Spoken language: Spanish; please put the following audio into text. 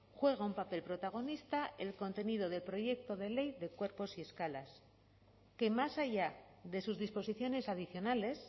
juega un papel protagonista el contenido del proyecto de ley de cuerpos y escalas que más allá de sus disposiciones adicionales